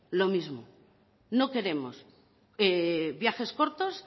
lo mismo no queremos viajes cortos